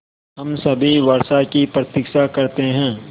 हम सभी वर्षा की प्रतीक्षा करते हैं